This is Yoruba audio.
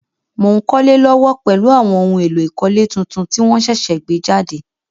Mo n kólé lówó pèlu àwon oun éló ìkólé tuntun ti won sẹ̀sẹ̀ gbé jàde